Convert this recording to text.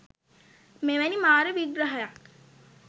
මෙවැනි මාර විග්‍රහයක්